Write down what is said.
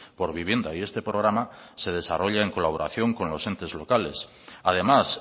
por vivienda y este programa se desarrolla en colaboración con los entes locales además